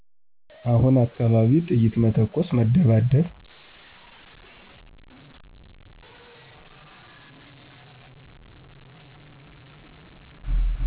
አሁነ አካባቢ ጥይት መተኮስ መደባደብ